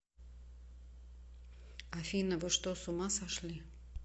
афина вы что с ума сошли